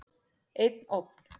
Einn ofn.